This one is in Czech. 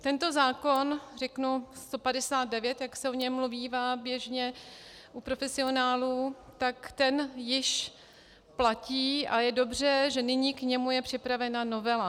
Tento zákon, řeknu 159, jak se o něm mluvívá běžně u profesionálů, tak ten již platí a je dobře, že nyní k němu je připravena novela.